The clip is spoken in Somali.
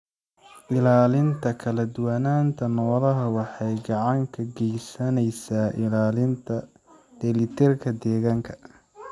Ilaalinta kala duwanaanta noolaha waxay gacan ka geysaneysaa ilaalinta dheelitirka deegaanka.